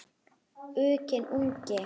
Uxinn ungi.